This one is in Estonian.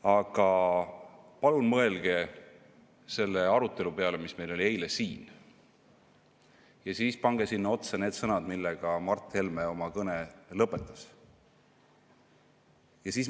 Aga palun mõelge selle arutelu peale, mis meil eile siin oli, ja siis pange sinna otsa need sõnad, millega Mart Helme oma kõne lõpetas.